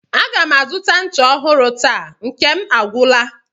A ga m azụta ncha ọhụrụ taa, nke m agwụla